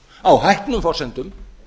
á hæpnum forsendum